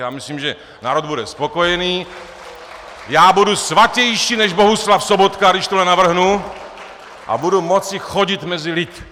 Já myslím, že národ bude spokojený, já budu svatější než Bohuslav Sobotka, když tohle navrhnu, a budu moci chodit mezi lid.